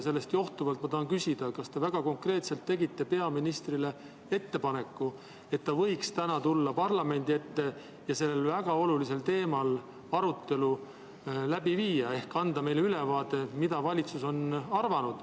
Sellest johtuvalt tahan küsida, kas te väga konkreetselt tegite peaministrile ettepaneku, et ta võiks täna tulla parlamendi ette ja sellel väga olulisel teemal arutelu läbi viia ehk anda meile ülevaade sellest, mida valitsus on arvanud.